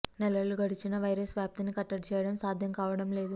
నెలలు గడిచినా వైరస్ వ్యాప్తిని కట్టడి చేయడం సాధ్యం కావడం లేదు